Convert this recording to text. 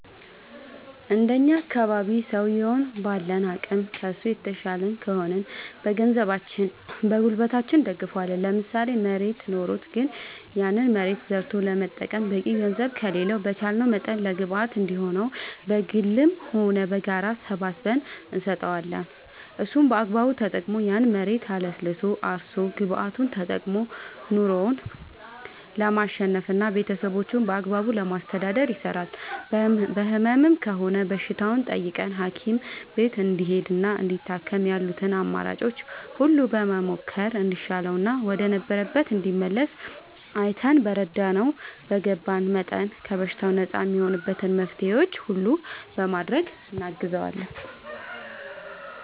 እንደኛ አካባቢ ሠውየዉን ባለን አቅም ከሡ የተሻልን ከሆንን በገንዘባችን በጉልበታችን እንደግፈዋለን ለምሳሌ መሬት ኖሮት ግን ያን መሬት ዘርቶ ለመጠቀም በቂ ገንዘብ ከሌለው በቻለንው መጠን ለግብአት እንዲሆነው በግልም ሆነ በጋራ ሰባስበን እንሰጠዋለን እሱም በአግባቡ ተጠቅሞ ያን መሬት አለስልሶ አርሶ ግብዓቱን ተጠቅሞ ኑሮው ለማሸነፍና ቤተሠቦቹን በአግባቡ ለማስተዳደር ይሰራል በህመም ከሆነም በሽታውን ጠይቀን ሀኪም ቤት እንዲሄድና እንዲታከም ያሉትን አማራጮች ሁሉ በመሞከር እንዲሻለውና ወደ ነበረበት እንዲመለስ አይተን በተረዳነው በገባን መጠን ከበሽታው ነፃ እሚሆንበትን መፍትሔዎች ሁሉ በማድረግ እናግዘዋለን